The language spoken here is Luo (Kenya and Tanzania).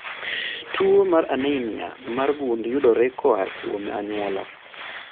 Tuwo mar anemia mar gund yudore koa kuom anyuola